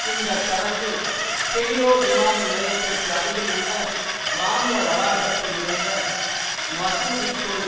இந்த சடங்கு கெய்ரோ விமான நிலையத்திற்கு அருகில் உள்ள இராணுவ வளாகத்தில் இருந்த மசூதிக்குள்